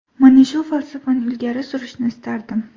Mana shu falsafani ilgari surishni istardim.